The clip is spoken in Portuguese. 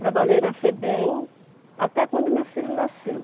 Trabalhei na Febem até quando meu filho nasceu.